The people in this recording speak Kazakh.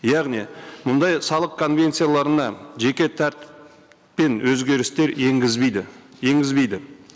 яғни мұндай салық конвенцияларына жеке тәртіппен өзгерістер енгізбейді енгізбейді